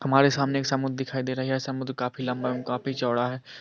हमारे सामने एक समुंद्र दिखाई दे रही है समुंद काफी लम्बा है एव काफी चौड़ा है --